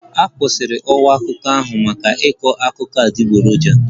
A kwụsịtụrụ ọwa akụkọ ahụ maka ịkọ akụkọ adịgboroja